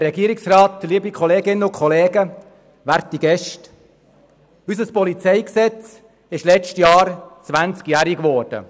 der SiK. Unser PolG ist letztes Jahr zwanzig Jahre alt geworden.